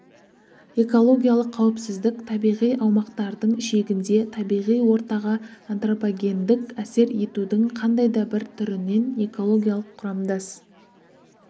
экологиялық қауіпсіздік табиғи аумақтардың шегінде табиғи ортаға антропогендік әсер етудің қандай да бір түрінен экологиялық құрамдас